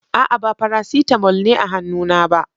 A'a, ba Farasitamol ne a hannuna ba.